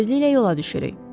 Tezliklə yola düşürük.